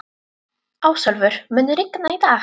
Ásólfur, mun rigna í dag?